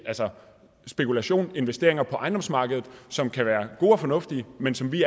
spekulation investeringer på ejendomsmarkedet som kan være gode og fornuftige men som vi